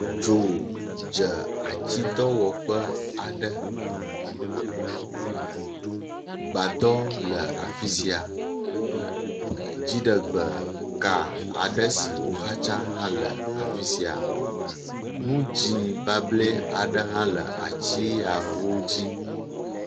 Dzo dze atsidɔwɔƒe aɖe. gbadɔ le afi sia. Dziɖegbe ka aɖe si woxatsa hã le afi sia. Nu dzi bable aɖe hã le atsia wo dzi.